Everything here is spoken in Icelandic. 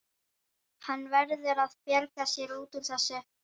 Hann verður að bjarga sér út úr þessu.